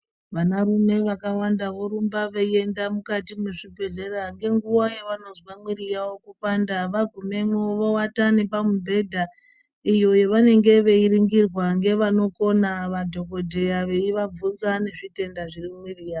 Vanarume vakawanda vakawanda vorumba veienda mukati mezvibhehlera kenguva yavanozwa muiri yawo kupanda .Vagumemwo vovata nepamubhedha iyo yavanenge veiningirwa ngevanokona ,madhokodheya veivabvunza nezvitenda zviri mumuiri yawo.